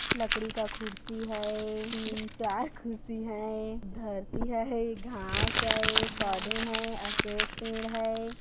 लकड़ी का ख़ुर्शी है तीन चार ख़ुर्शी है धरती है घास है पौधे है अशोक पेड़ हैं।